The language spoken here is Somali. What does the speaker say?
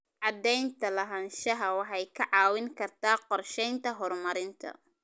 Cadaynta lahaanshaha waxay kaa caawin kartaa qorsheynta horumarinta.